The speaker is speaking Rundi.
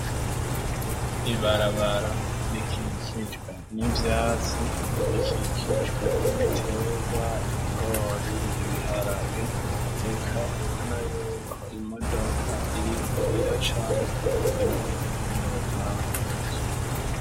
Ibarabara rikikicwe n'ibyatsi rikikicwe n'ibiterwa ibigori ibiharage reka ubona y'ubuko imodoka iriko iracamu ivuye mu rutangu rw'inzu.